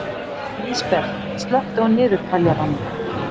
Lísabet, slökktu á niðurteljaranum.